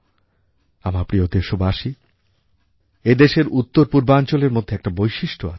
আমার প্রিয় দেশবাসী এদেশের উত্তরপূর্বাঞ্চলের মধ্যে একটা বৈশিষ্ট্য আছে